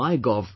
mygov